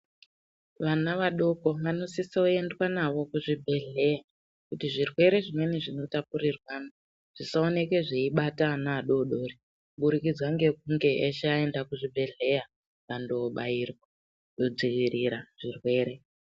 Vana vadoko vanositsa kuendwa navo kuzvibhedhleya kuti zvirwere zvimweni zvinotapurirwa zvisaoneka zvaibata ana adodori kubudikidza ngukunge eshe aenda kuzvibhedhleya kundobairwa kudzivirira zvirwere.